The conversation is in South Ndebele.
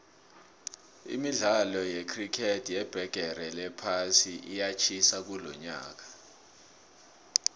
imidkalo yecricket yebhigiri yephasi iyatjhisa kulonyaka